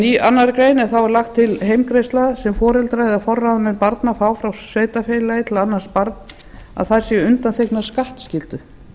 í annarri grein er lögð til heimgreiðsla sem foreldrar eða forráðamenn barna fá frá sveitarfélagi til að annast barn að þær séu undanþegnar skattskyldu